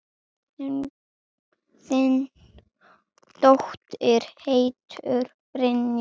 Þín dóttir, Hildur Brynja.